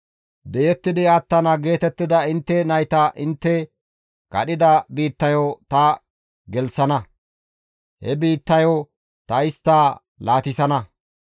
Di7ettidi attana geetettida intte nayta intte kadhida biittayo ta gelththana; he biittayo ta istta laatissana.